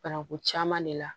Bananku caman de la